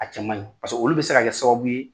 A cɛ maɲi paseke olu bɛ se ka kɛ sababu ye